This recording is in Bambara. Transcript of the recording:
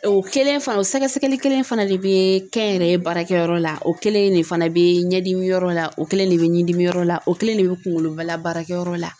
O kelen fana o sɛgɛsɛgɛli kelen in fana de bɛ kɛnyɛrɛye baarakɛ yɔrɔ la o kelen de fana bɛ ɲɛdimi yɔrɔ la o kelen de bɛ ɲindimiyɔrɔ la o kelen de bɛ kunkoloba la baarakɛyɔrɔ la.